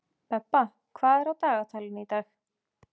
Bebba, hvað er á dagatalinu í dag?